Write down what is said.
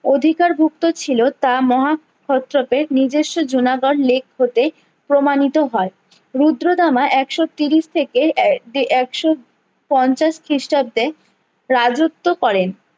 অধিকার ভুক্ত ছিলো তা মহাক্ষত্রপের নিজেস্ব জুনাগড় lake হতে প্রমাণিত হয়ে রুদ্রাদামা একশো তিরিশ থেকে একশো পঞ্চাশ খিষ্টাব্দে রাজ্যত্ব করেন